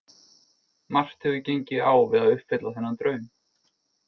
Margt hefur gengið á við að uppfylla þennan draum.